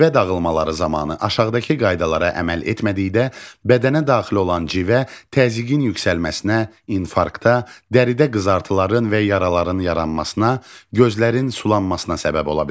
Civə dağılmaları zamanı aşağıdakı qaydalara əməl etmədikdə bədənə daxil olan civə təzyiqin yüksəlməsinə, infarkta, dəridə qızartıların və yaraların yaranmasına, gözlərin sulanmasına səbəb ola bilər.